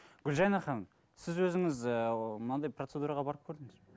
гүлжайна ханым сіз өзіңіз ы мынандай процедураға барып көрдіңіз бе